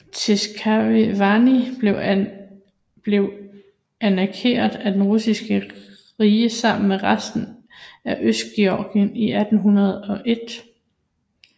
Tskhinvali blev annekteret af Det russiske rige sammen med resten af Østgeorgien i 1801